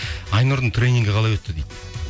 айнұрдың тренингі қалай өтті дейді